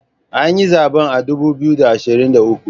An yi zaben a dubu biyu da ashirin da uku